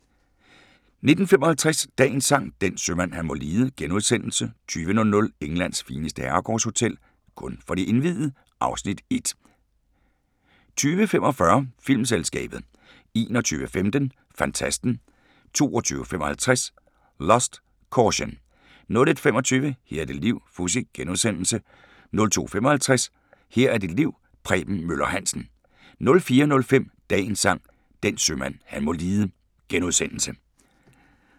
19:55: Dagens Sang: Den sømand han må lide * 20:00: Englands fineste herregårdshotel – kun for de indviede (Afs. 1) 20:45: Filmselskabet 21:15: Fantasten 22:55: Lust, Caution 01:25: Her er dit liv - Fuzzy * 02:55: Her er dit liv – Preben Møller Hansen 04:05: Dagens Sang: Den sømand han må lide *